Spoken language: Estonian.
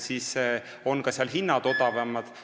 Seega on seal ka hinnad odavamad.